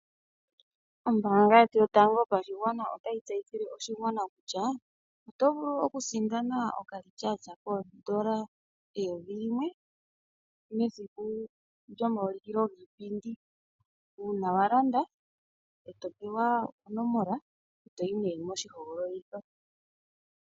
Ombaanga yetu yotango yopashigwana otayi tseyithile oshigwana kutya otovulu okusindana okambaapila kiimaliwa hono hakutiwa okaVoucher N$1000, mesiku lyomaulikilo giipindi . Uuna walanda, etopewa onomola , oluza mpono ohoyi moshihogololitho.